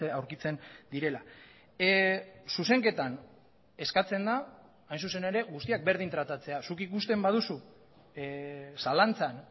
aurkitzen direla zuzenketan eskatzen da hain zuzen ere guztiak berdin tratatzea zuk ikusten baduzu zalantzan